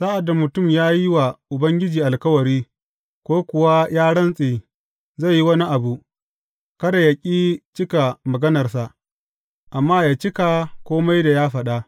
Sa’ad da mutum ya yi wa Ubangiji alkawari, ko kuwa ya rantse zai yi wani abu, kada yă ƙi cika maganarsa, amma yă cika kome da ya faɗa.